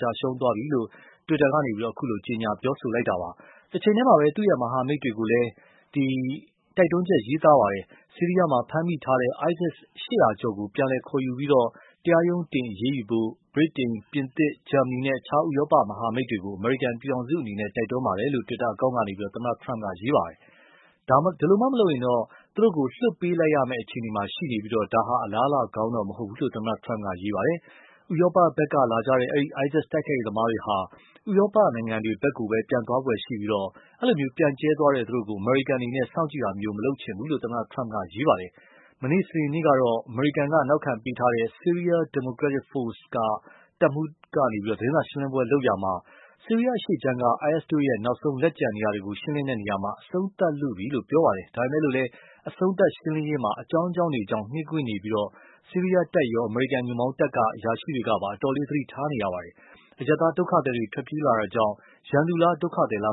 ကျရှုံးသွားပြီလို့ တွစ်တာကနေ အခုလို ကြေညာပြောဆိုတာပါ။ တချိန်တည်းမှာပဲ သူ့ မဟာမိတ်တွေကိုလည်း တိုက်တွန်းချက် ရေးသားပါတယ်။ ဆီးရီယားမှာ ဖမ်းမိထားတဲ့ ISIS ၈၀၀ ကျော်ကို ပြန်လည်ခေါ်ယူပြီး၊ တရားရုံးတင်အရေးယူဖို့ ဗြိတိန် ပြင်သစ် ဂျာမဏီနဲ့ အခြား ဥရောပမဟာမိတ်တေ ွကို အမေရိကန်ပြည်ထောင်စုအနေနဲ့ တိုက်တွန်းပါတယ်လို့ တွစ်တာအကောင့်ကနေ သမ္မတ Trump ရေးသားခဲ့တာပါ။ ဒါမှမဟုတ်ရင်တော့ သူတို့ကို လွှတ်ပေးရမယ့်အခြေအနေမှာရှိနေပြီး ဒါဟာ အလားအလာကောင်းတော့မဟုတ်ဘူးလို့ သမ္မတ Trump က ရေးပါတယ်။ ဥရောပ ဖက်က လာကြတဲ့ ဒီ ISIS တိုက်ခိုက်ရေးသမားတွေဟာ ဥရောပဖက်ကိုပဲ ပြန်သွားဖွယ်ရှိပြီး၊ ပြန့်ကျဲသွားတဲ့ သူတို့ကို အမေရိကန်အနေနဲ့ စောင့်ကြည့်တာ မလုပ်ချင်ဘူးလို့ သမတ Trump က ရေးပါတယ်။ မနေ့ စနေနေ့ကတော့ အမေရိကန်နောက်ခံပေးထားတဲ့ Syrai Democratic Forces က တပ်မှုးက သတင်းစာရှင်းလင်းပွဲလုပ်ရာမှာ ဆီးရီယားအရှေ့ခြမ်းက IS ရဲ့ နောက်ဆုံးလက်ကျန်နေရာတွေကို ရှင်းလင်းနေရာမှာ၊ အဆုံးသတ်လုပြီလို့ ပြောခဲ့ပါတယ်။ ဒါပေမယ့်လည်း အဆုံးသတ်ရှင်းလင်းရေးမှာ အကြောင်းကြောင်းတွေကြောင့် နှေးကွေးနေပြီး၊ ဆီးရီယားတပ်ရော အမေရိကန်ညွှန်ပေါင်းတပ်က အရာရှိတွေကပါ သတိအတော်ထားနေရပါတယ်။ အရပ်သားဒုက္ခသည်တွေထွက်ပြေးလာတာကြောင့် ရန်သူလား ဒုက္ခသည်လားမ